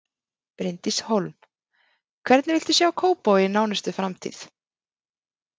Bryndís Hólm: Hvernig viltu sjá Kópavog í nánustu framtíð?